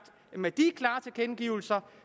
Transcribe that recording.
at med de klare tilkendegivelser